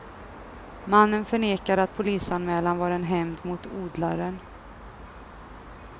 Mannen förnekade att polisanmälan var en hämnd mot odlaren.